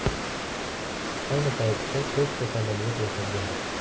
Ayni paytda to‘rtta samolyot yasalgan.